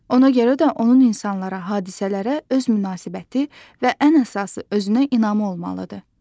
Ona görə də onun insanlara, hadisələrə öz münasibəti və ən əsası özünə inamı olmalıdır.